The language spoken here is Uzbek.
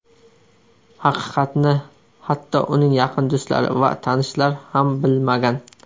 Haqiqatni hatto uning yaqin do‘stlari va tanishlar ham bilmagan.